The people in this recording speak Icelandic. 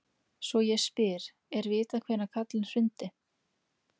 Svo ég spyr: er vitað hvenær Karlinn hrundi?